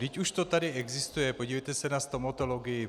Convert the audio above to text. Vždyť už to tady existuje, podívejte se na stomatologii.